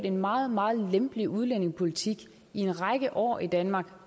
en meget meget lempelig udlændingepolitik i en række år i danmark